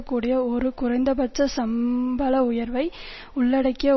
கூடிய ஒரு குறைந்தபட்ச சம்பள உயர்வை உள்ளடக்கிய